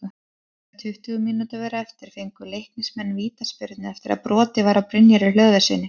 Þegar tuttugu mínútur voru eftir fengu Leiknismenn vítaspyrnu eftir að brotið var á Brynjari Hlöðverssyni.